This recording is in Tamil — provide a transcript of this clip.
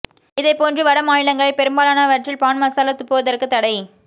இதை போன்று வட மாநிலங்களில் பெரும்பாலனவற்றில் பான் மசாலா துப்புவதற்கு தடை